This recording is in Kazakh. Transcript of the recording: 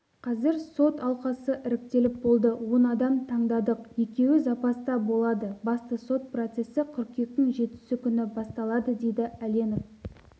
қазір сот алқасы іріктеліп болды он адам таңдадық екеуі запаста болады басты сот процесі қыркүйектің жетісі күні басталады дейді әленов